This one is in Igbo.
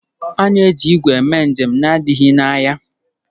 A na-eji igwe eme njem na-adịghị anya.